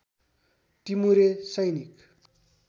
टिमुरे सैनिक